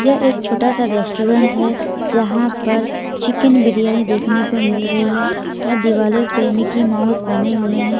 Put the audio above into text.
यह एक छोटा सा रेस्टोरेंट है जहां पर चिकन बिरयानी देखने को मिल रही है और दिवार पे मिकी माउस बने हुए हैं।